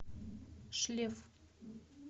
шлеф